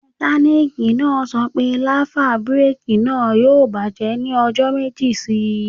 Mẹkánìkì náà sọ pé láfà búrèkì náà yóò bàjẹ́ ní ọjọ́ méjì sí ìsín